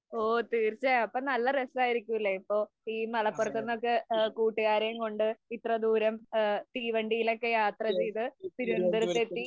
ഓ, തീര്‍ച്ചയായും. അപ്പൊ നല്ല രസായിരിക്കൂലേ. അപ്പൊ ഈ മലപ്പുറത്ത് നിന്ന് കൂട്ടുകാരേം കൊണ്ട് ഇത്രദൂരംതീവണ്ടിയിലൊക്കെ യാത്ര ചെയ്ത് തിരുവനന്തപുരത്തെത്തി